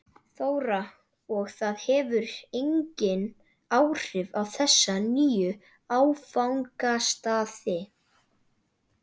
Þóra: Og það hefur engin áhrif á þessa nýju áfangastaði?